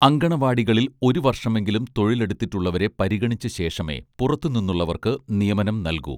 അങ്കണവാടികളിൽ ഒരുവർഷമെങ്കിലും തൊഴിലെടുത്തിട്ടുള്ളവരെ പരിഗണിച്ച ശേഷമേ പുറത്തു നിന്നുള്ളവർക്ക് നിയമനം നൽകൂ